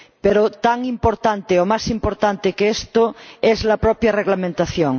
Pero, tan importante o más importante que esto es la propia reglamentación.